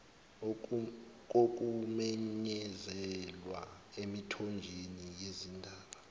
kokumenyezelwa emithonjeni yezindaba